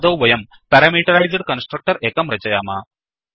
आदौ वयं parameterised constructor एकं रचयाम